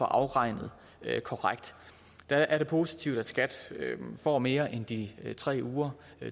afregnet korrekt der er det positivt at skat får mere end de tre uger